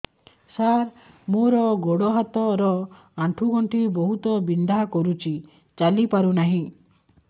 ସାର ମୋର ଗୋଡ ହାତ ର ଆଣ୍ଠୁ ଗଣ୍ଠି ବହୁତ ବିନ୍ଧା କରୁଛି ଚାଲି ପାରୁନାହିଁ